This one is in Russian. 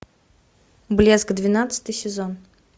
блеск двенадцатый сезон